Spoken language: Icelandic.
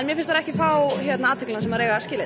finnst þær ekki fá þá athygli sem þær eiga skilið